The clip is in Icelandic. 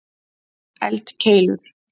eldkeilur